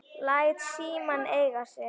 Læt símann eiga sig.